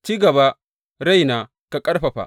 Ci gaba raina; ka ƙarfafa!